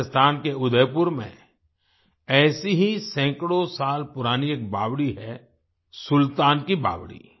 राजस्थान के उदयपुर में ऐसी ही सैकड़ों साल पुरानी एक बावड़ी है सुल्तान की बावड़ी